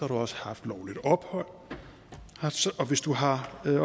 du også haft lovligt ophold og hvis du har